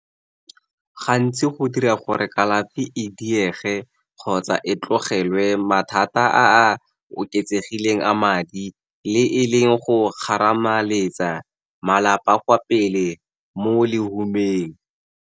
Gantsi go dira gore kalafi e diege kgotsa e tlogelwe, mathata a a oketsegileng a madi le e leng go kgarameletsa malapa kwa pele mo lehumeng.